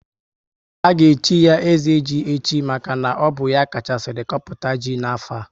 A ga echi ya ezeji echi maka na ọ bụ ya kachasiri kpọpụta ji na afo a